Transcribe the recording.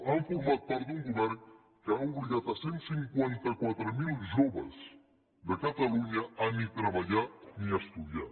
han format part d’un govern que ha obligat cent i cinquanta quatre mil joves de catalunya a ni treballar ni estudiar